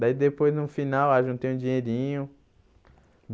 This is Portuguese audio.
Daí depois, no final, ah juntei um dinheirinho.